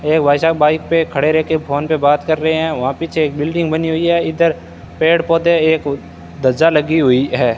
एक भाई साब बाइक पे खड़े रह के फोन पे बात कर रहे है वहां पीछे एक बिल्डिंग बनी हुई है इधर पेड़ पौधे एक ध्वजा लगी हुई है।